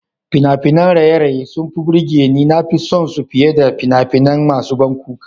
Fina-finan raye-raye suna burge ni, na fi son su fiye da fina-finai masu ban kuka.